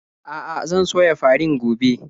A'a, zan soya farin gobe.